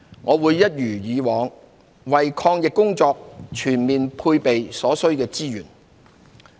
我會一如以往，為抗疫工作全面配備所需的資源。